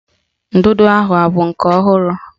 Ndụdụ ahụ abụ nke ọhụrụ?